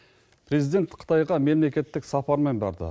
президент қытайға мемлекеттік сапармен барды